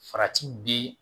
Farati bi